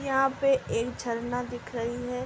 यहा पे एक झरना दिख रही है।